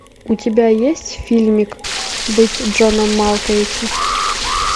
у тебя есть фильмик быть джоном малковичем